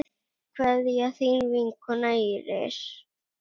Kveðja, þín vinkona Íris.